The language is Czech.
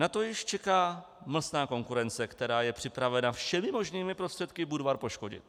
Na to již čeká mlsná konkurence, která je připravena všemi možnými prostředky Budvar poškodit.